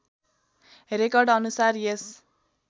record अनुसार यस